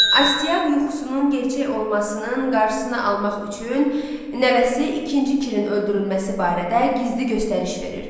Astiaq yuxusunun gerçək olmasının qarşısını almaq üçün nəvəsi ikinci Kirin öldürülməsi barədə gizli göstəriş verir.